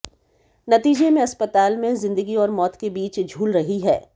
नतीजे में अस्पताल में जिंदगी और मौत के बीच झूल रही है